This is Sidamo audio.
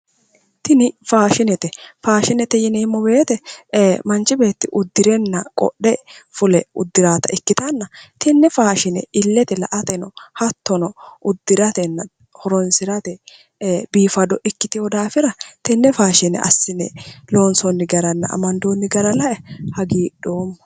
Tini faashinete, faashinete yineemmo woyte manchi beetti uddirenna qodhe fule uddirayotta ikkittanna, tine faashine ileteni la"atenno hattono uddiratenna horonsirate biifado ikkiteyo daafira tene faashine assine loonsoni garanna amandooni gara lae hagiidhoomma".